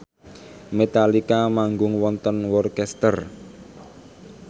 Metallica manggung wonten Worcester